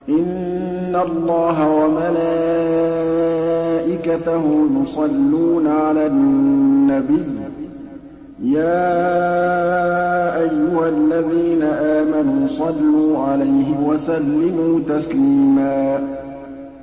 إِنَّ اللَّهَ وَمَلَائِكَتَهُ يُصَلُّونَ عَلَى النَّبِيِّ ۚ يَا أَيُّهَا الَّذِينَ آمَنُوا صَلُّوا عَلَيْهِ وَسَلِّمُوا تَسْلِيمًا